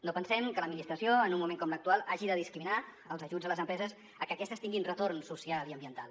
no pensem que l’administració en un moment com l’actual hagi de discriminar els ajuts a les empreses a que aquestes tinguin retorn social i ambiental